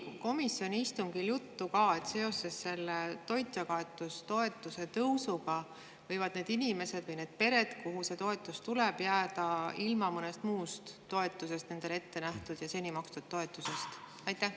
Kas komisjoni istungil oli juttu ka sellest, et seoses selle toitjakaotustoetuse tõusuga võivad need inimesed või need pered, kellele see toetus tuleb, jääda ilma mõnest muust nendele ette nähtud ja seni makstud toetusest?